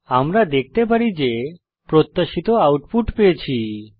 আমরা দেখতে পারি যে প্রত্যাশিত আউটপুট পেয়েছি